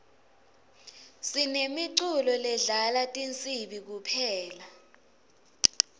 sinemiculo ledlala tinsibi kuphela